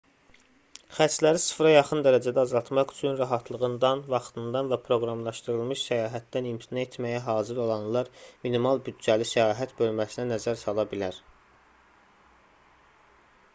xərcləri sıfıra yaxın dərəcədə azaltmaq üçün rahatlığından vaxtından və proqramlaşdırılmış səyahətdən imtina etməyə hazır olanlar minimal büdcəli səyahət bölməsinə nəzər sala bilər